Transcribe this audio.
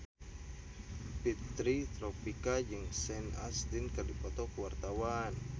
Fitri Tropika jeung Sean Astin keur dipoto ku wartawan